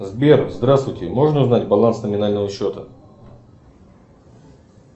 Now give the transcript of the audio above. сбер здравствуйте можно узнать баланс номинального счета